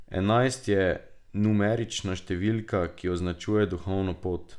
Enajst je numerična številka, ki označuje duhovno pot.